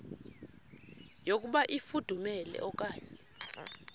yokuba ifudumele okanye